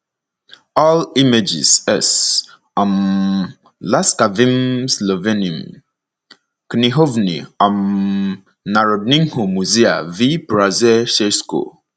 All images: S um laskavým svolením knihovny um Národního muzea v Praze, C̆esko.